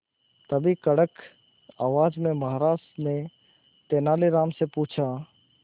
तभी कड़क आवाज में महाराज ने तेनालीराम से पूछा